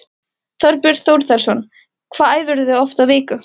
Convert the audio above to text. Þorbjörn Þórðarson: Hvað æfirðu oft í viku?